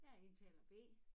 Jeg er indtaler B